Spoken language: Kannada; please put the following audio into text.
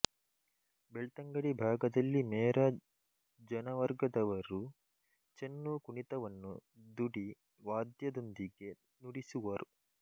ಬೆಳ್ತಂಗಡಿ ಭಾಗದಲ್ಲಿ ಮೇರ ಜನವರ್ಗದವರು ಚೆನ್ನು ಕುಣಿತವನ್ನು ದುಡಿ ವಾದ್ಯದೊಂದಿಗೆ ನುಡಿಸುವರು